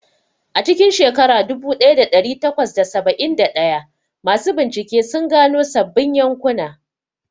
A cikin shekara dubu ɗaya da ɗari takwas da saba'in da ɗaya, masu bincike sun gano sabbin yankuna.